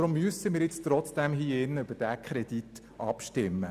Weshalb müssen wir nun trotzdem hier im Grossen Rat über diesen Kredit abstimmen?